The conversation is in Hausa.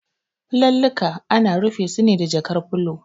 Filallika ana rufe su ne da jakar filo.